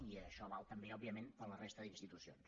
i això val també òbviament per a la resta d’institucions